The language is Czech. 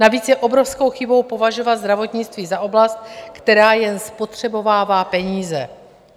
Navíc je obrovskou chybou považovat zdravotnictví za oblast, která jen spotřebovává peníze.